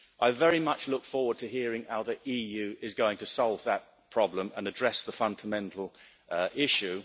I very much look forward to hearing how the EU is going to solve that problem and address the fundamental issue.